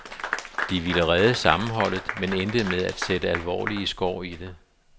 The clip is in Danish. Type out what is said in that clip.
De ville redde sammenholdet, men endte med at sætte alvorlige skår i det.